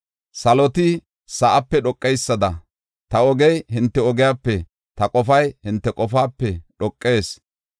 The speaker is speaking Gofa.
Saloti sa7aape dhoqeysada, ta ogey hinte ogiyape, ta qofay hinte qofaape dhoqees.